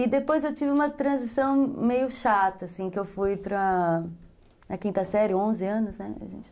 E depois eu tive uma transição meio chata, assim, que eu fui para... Na quinta série, onze anos, né? A gente